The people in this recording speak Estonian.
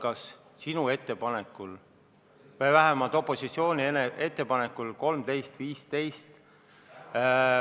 Komisjoni istung algas sinu või vähemalt opositsiooni ettepanekul kell 13.15.